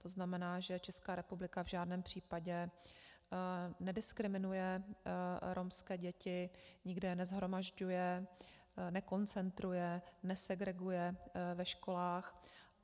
To znamená, že Česká republika v žádném případě nediskriminuje romské děti, nikde je neshromažďuje, nekoncentruje, nesegreguje ve školách.